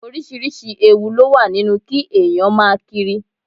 Oríṣiríṣi ewu ló wà nínú kí èèyàn máa kiri